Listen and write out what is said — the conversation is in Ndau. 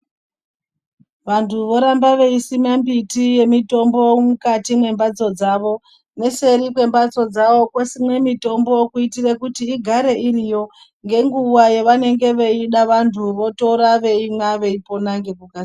Vantu voramba veisime mbiti yemutombo mukati mwemhatso dzavo neseri kwemhatso dzavo kosimwe mitombo kuitire kuti igare iriyo ngenguwa yavanenge veida vantu votora veimwa vopora ngeku.